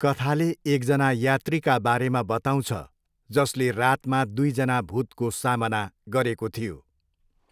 कथाले एकजना यात्रीका बारेमा बताउँछ जसले रातमा दुईजना भूतको सामना गरेको थियो।